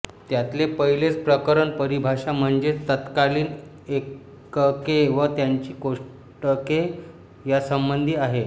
त्यातले पहिलेच प्रकरण परिभाषा म्हणजेच तत्कालीन एकके व त्यांची कोष्टके यांसंबंधी आहे